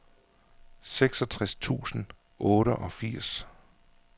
seksogtres tusind og otteogfirs